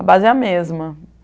A base é a mesma.